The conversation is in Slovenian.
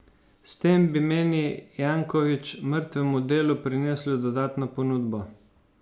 S tem bi, meni Janković, mrtvemu delu prinesli dodatno ponudbo.